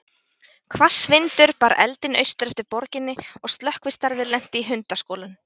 Hvass vindur bar eldinn austur eftir borginni, og slökkvistarfið lenti í handaskolum.